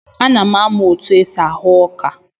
Ana m amụ otu esi ahụ ọka.